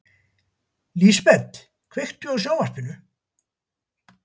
Lísebet, kveiktu á sjónvarpinu.